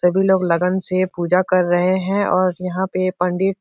सभी लोग लगन से पूजा कर रहे हैं और यहाँ पे पंडित --